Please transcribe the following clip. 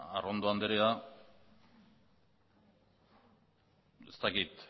arrondo anderea ez dakit